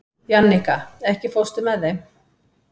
Jannika, ekki fórstu með þeim?